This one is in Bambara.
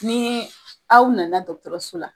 Ni aw nana dɔgɔtɔrɔso la